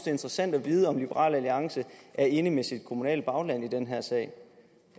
interessant at vide om liberal alliance er enig med sit kommunale bagland i den her sag